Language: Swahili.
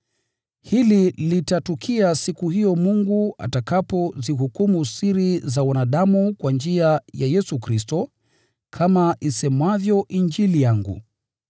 Hili litatukia siku hiyo Mungu atakapozihukumu siri za wanadamu kwa njia ya Yesu Kristo, kama isemavyo Injili yangu.